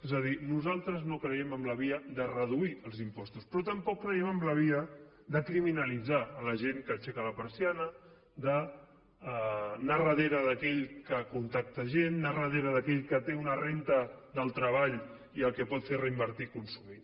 és a dir nosaltres no creiem en la via de reduir els impostos però tampoc creiem en la via de criminalitzar la gent que aixeca la persiana d’anar darrere d’aquell que contracta gent anar darrera d’aquell que té una renda del treball i el que pot fer es reinvertir i consumir